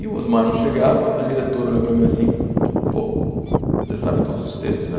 E o Osmar não chegava, a diretora olhou para mim assim, pô, você sabe todos os textos, né?